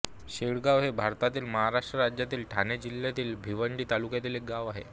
शेडगाव हे भारतातील महाराष्ट्र राज्यातील ठाणे जिल्ह्यातील भिवंडी तालुक्यातील एक गाव आहे